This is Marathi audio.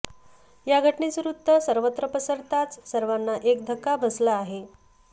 या घटनेचं वृत्त सर्वत्र पसरताच सर्वांना एक धक्का बसला आहे